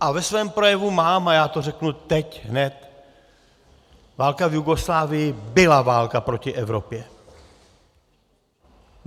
A ve svém projevu mám, a já to řeknu teď hned - válka v Jugoslávii byla válka proti Evropě.